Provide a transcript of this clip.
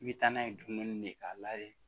I bɛ taa n'a ye dumuni ne k'a lajɛ